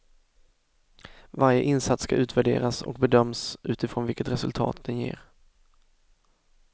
Varje insats ska utvärderas och bedöms utifrån vilket resultat den ger.